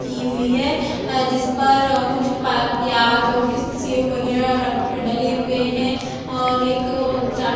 की हुई है अ जिस पर अ कुछ प प्याज़ और कीस्यू वगेरा रख डले हुए है और एक ओ चाट--